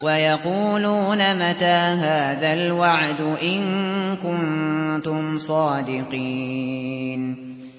وَيَقُولُونَ مَتَىٰ هَٰذَا الْوَعْدُ إِن كُنتُمْ صَادِقِينَ